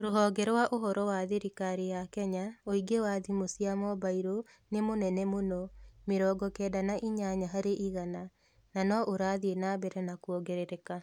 Rũhonge rwa Ũhoro rwa thirikari ya Kenya, ũingĩ wa thimũ cia mobailo nĩ mũnene mũno (mĩrongo kenda na inyanya harĩ igana) na no ũrathiĩ na mbere na kuongerereka.